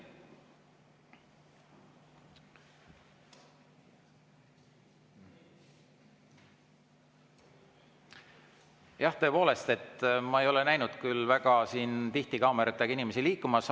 Jah, tõepoolest, ma ei ole näinud siin väga tihti kaameratega inimesi liikumas.